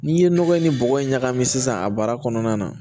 N'i ye nɔgɔ in ni bɔgɔ in ɲagami sisan a baara kɔnɔna na